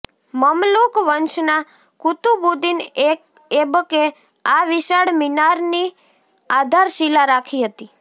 મમલુક વંશના કુતુબુદ્દીન એબકે આ વિશાળ મીનારની આધારશિલા રાખી હતી